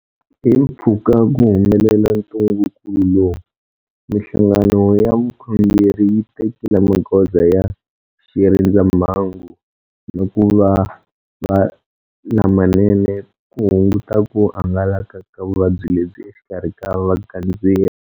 Himpfhuka ku humelela ntungukulu lowu, mihlangano ya vukhongeri yi tekile magoza ya xirindzamhangu na ku va lamanene ku hunguta ku hangalaka ka vuvabyi lebyi exikarhi ka vagandzeri.